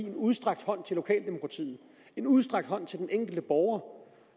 en udstrakt hånd til lokaldemokratiet en udstrakt hånd til den enkelte borger